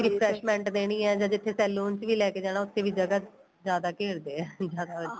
refreshment ਦੇਣੀ ਏ ਜਾਂ ਜਿੱਥੇ saloon ਚ ਵੀ ਲੈਕੇ ਜਾਣਾ ਉੱਥੇ ਵੀ ਜਗ੍ਹਾ ਜਿਆਦਾ ਘੇਰਦੇ ਏ ਜਿਆਦਾ